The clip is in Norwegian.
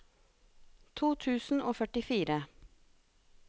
to tusen og førtifire